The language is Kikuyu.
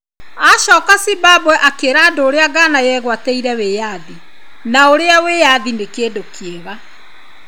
Acoka Zimbabwe, akĩra andũ ũrĩa Ghana yegwatĩire wĩyathi na ũrĩa wĩyathi nĩ kĩndũ kĩega.